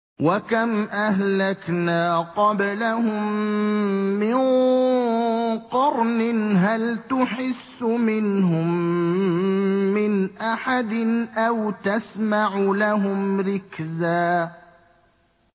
وَكَمْ أَهْلَكْنَا قَبْلَهُم مِّن قَرْنٍ هَلْ تُحِسُّ مِنْهُم مِّنْ أَحَدٍ أَوْ تَسْمَعُ لَهُمْ رِكْزًا